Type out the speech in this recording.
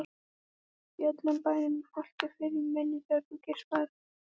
Í öllum bænum haltu fyrir munninn þegar þú geispar.